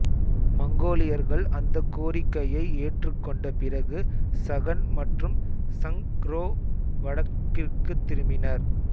மங்கோலியர்கள் அந்தக் கோரிக்கையை ஏற்றுக்கொண்ட பிறகு சகன் மற்றும் சங் ரோ வடக்கிற்குத் திரும்பினர்